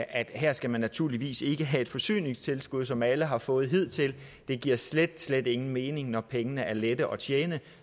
at her skal man naturligvis ikke have et forsyningstilskud som alle har fået hidtil det giver slet slet ingen mening når pengene er lette at tjene